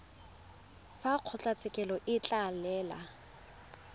fa kgotlatshekelo e ka laela